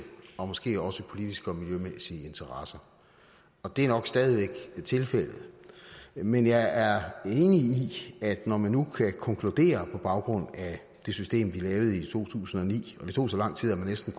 og måske også politiske og miljømæssige interesser og det er nok stadig væk tilfældet men jeg er enig i at når man nu kan konkludere på baggrund af det system vi lavede i to tusind og ni og det tog så lang tid at man næsten